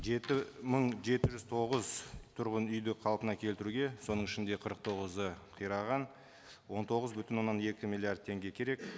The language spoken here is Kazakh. жеті мың жеті жүз тоғыз тұрғын үйді қалпына келтіруге соның ішінде қырық тоғызы қираған он тоғыз бүтін оннан екі миллиард теңге керек